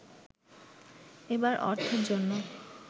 এবার অর্থের জন্য